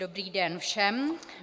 Dobrý den všem.